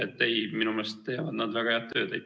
Nii et ei, minu meelest teevad nad väga head tööd.